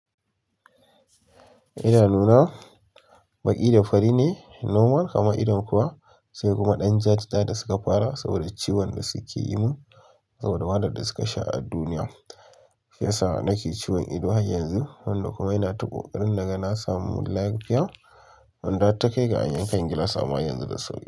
Idanuna baƙi da fari ne nomal, kamar idon kowa sai kuma ɗan jaja da suka fara saboda ciwon da suke yi mun saboda wahalar da suka sha a duniya. Yasa nake ciwon ido har yanzu, wanda kuma ina ta ƙoƙarin naga na samu lafiya. Wanda har ta kai ga an yankan gilas, amma yanzu da sauƙi.